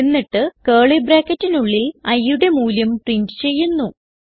എന്നിട്ട് കർലി ബ്രാക്കറ്റിനുള്ളിൽ iയുടെ മൂല്യം പ്രിന്റ് ചെയ്യുന്നു